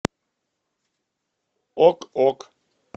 ок ок